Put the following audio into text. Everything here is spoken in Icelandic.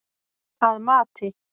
Að mati